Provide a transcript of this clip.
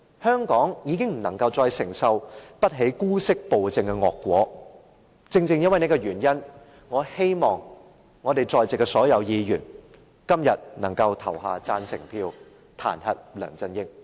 香港再承受不起姑息暴政的惡果，正正因為這個原因，我希望在席所有議員今天能夠投下贊成票，彈劾梁振英。